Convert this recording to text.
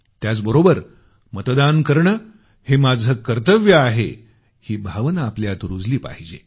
त्याचबरोबर मतदान करणं हे माझं कर्तव्य आहेही भावना आपल्यात रुजली पाहिजे